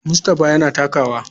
Mustapha yana takawa.